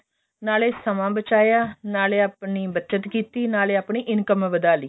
ਨਾਲੇ ਸਮਾਂ ਬਚਾਇਆ ਨਾਲੇ ਆਪਣੀ ਬੱਚਤ ਕੀਤੀ ਨਾਲੇ ਆਪਣੀ income ਵਧਾ ਲਈ